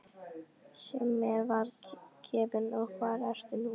Sem mér var gefinn og hvar ertu nú.